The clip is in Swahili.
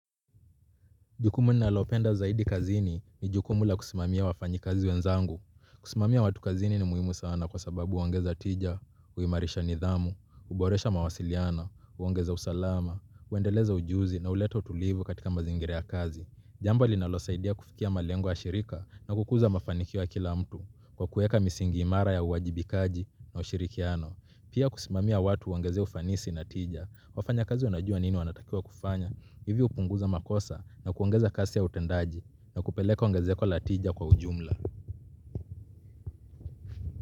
Jukumu nalopenda zaidi kazini ni jukumu la kusimamia wafanyi kazi wenzangu. Kusimamia watu kazini ni muhimu sana kwa sababu uongeza tija, uimarisha nidhamu, uboresha mawasiliana, uongeza usalama, uendeleza ujuzi na uleta utulivu katika mazingira ya kazi. Jambo linalosaidia kufikia malengo ya shirika na kukuza mafanikio ya kila mtu kwa kuweka misingi imara ya uwajibikaji na ushirikiano. Pia kusimamia watu huongeza ufanisi na tija, wafanya kazi wanajua nini wanatakiwa kufanya, hivi hupunguza makosa na kuongeza kasi ya utendaji na kupeleka ongezeko latija kwa ujumla.